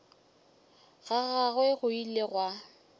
ga gagwe go ile gwa